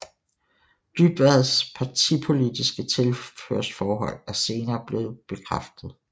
Dybvads partipolitiske tilhørsforhold er senere blevet bekræftet